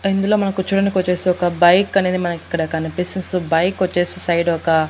ఇందులో మన కుచ్చోడానికొచ్చేసి ఒక బైక్ అనేది మనకిక్కడ కనిపిస్తుంది సో బైకొచ్చేసి సైడొక --